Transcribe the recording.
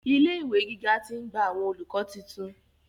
Ilé ìwé gíga ti ń gba àwọn olùkọ́ titun.